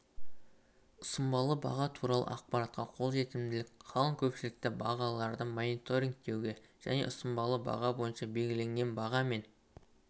ұсынбалы баға туралы ақпаратқа қолжетімділік қалың көпшілікті бағаларды мониторингтеуге және ұсынбалы баға бойынша белгіленген баға мен